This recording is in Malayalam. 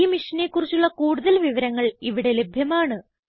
ഈ മിഷനെ കുറിച്ചുള്ള കുടുതൽ വിവരങ്ങൾ ഇവിടെ ലഭ്യമാണ്